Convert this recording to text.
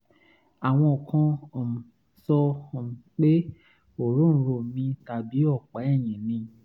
àwọn kan um sọ um pé òróǹro mi tàbí ọ̀pá ẹ̀yìn ni